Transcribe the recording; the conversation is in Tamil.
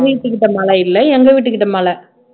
அவங்க வீட்டுக்கிட்ட மழை இல்ல எங்க வீட்டுக்கிட்ட மழை